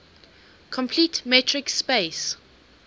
complete metric space